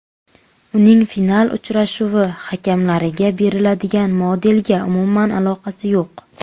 Uning final uchrashuvi hakamlariga beriladigan medalga umuman aloqasi yo‘q.